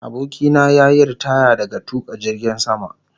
Abokina ya yi ritaya daga tuka jirgin sama